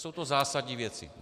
Jsou to zásadní věci.